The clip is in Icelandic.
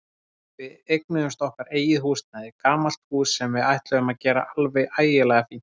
Við eignuðumst okkar eigið húsnæði, gamalt hús sem við ætluðum að gera alveg ægilega fínt.